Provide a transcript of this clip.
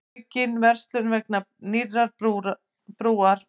Aukin verslun vegna nýrrar brúar